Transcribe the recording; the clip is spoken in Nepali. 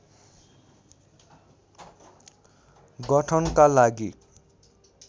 गठनका लागि